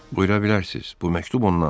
"Buyura bilərsiz, bu məktub ondandır."